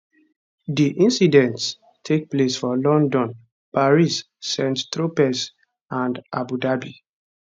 di incidents take place for london paris st tropez and abu dhabi